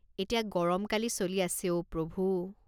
এতিয়া গৰমকালি চলি আছে অ' প্ৰভু!